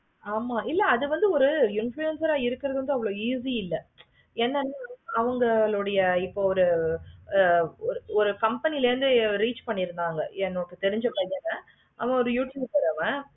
ஆமா அது வந்து ஒரு influencer ஆஹ் இருக்குறது வந்து அவ்வளோ easy இல்லை. ஆமா என்ன அவுங்களுடைய ஒரு ஒரு company la irunthu reach பண்ணி இருந்தாங்க. எனக்கு தெரிஞ்ச பசங்க அவங்க ஒரு youtuber